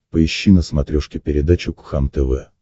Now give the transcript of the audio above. поищи на смотрешке передачу кхлм тв